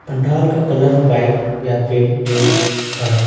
पंडाल का colour white या फिर रेड है।